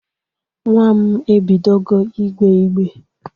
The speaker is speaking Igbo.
Nwa m ebidogo igbee igbe.